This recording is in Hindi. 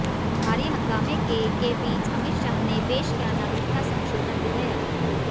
भारी हंगामे के के बीच अमित शाह ने पेश किया नागरिकता संशोधन विधेयक